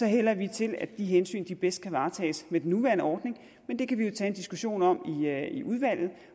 hælder vi til at de hensyn bedst kan varetages med den nuværende ordning men det kan vi jo tage en diskussion om i udvalget